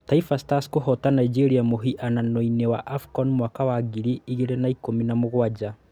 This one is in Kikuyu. Taifa Stars kũhoota Nigeria mũhiano-inĩ wa AFCON mwaka wa ngiri igĩrĩ na ikũmi na mũgwanja.